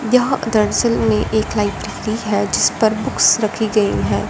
यहां दरअसल में एक लाइट है जिस पर बुक्स रखी गईं हैं।